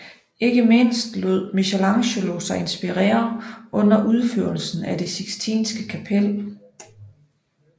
Ikke mindst lod Michelangelo sig inspirere under udførelsen af det Sixtinske Kapel